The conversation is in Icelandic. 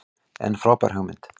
En frábær hugmynd.